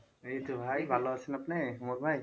এইতো ভাই ভালো আছেন আপনি ভাই?